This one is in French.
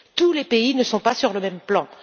Tous les pays ne sont pas sur le même plan.